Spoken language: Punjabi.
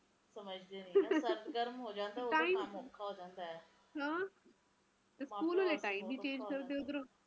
ਮੀਹ ਪਯੀ ਜਾਵੇ ਪਯੀ ਜਾਵੇ ਫਿਰ ਇੱਕਦਮ ਇੱਦਾ ਲੱਗਦਾ ਕੇ ਕੀ ਯਾਰ ਬਸ ਕਰ ਹੁਣ ਆਪਣੇ ਵਰਗੇ ਰਬ ਨੂੰ ਗੱਲਾਂ ਕੱਢਦੇ ਆ ਕੀ ਬਸ ਕਰ ਰੱਬਾ ਕੋਈ ਨਾ